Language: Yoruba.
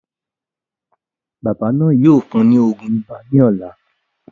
Bàbá náà yóò fún ùn ní òògùn ibà ní ọ̀la